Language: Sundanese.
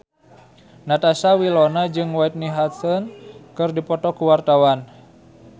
Natasha Wilona jeung Whitney Houston keur dipoto ku wartawan